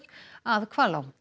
að Hvalá